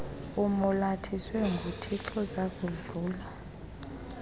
umolathiswe nguthixo zakudlula